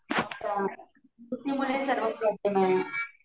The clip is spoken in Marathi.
अच्छा सुट्टीमुळे सगळा प्रॉब्लेम आहे हा